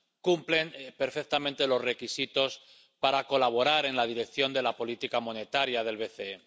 cumplen perfectamente los requisitos para colaborar en la dirección de la política monetaria del BCE.